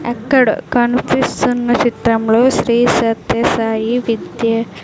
ఎక్కడో కనిపిస్తున్న చిత్రంలో శ్రీ సత్య సాయి విద్య --